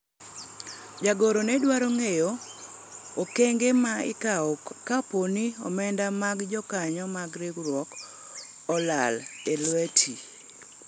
jagoro ne dwaro ng'eyo okengo ma ikawo kapo ni omenda mag jokanyo mag riwruok olal e lwete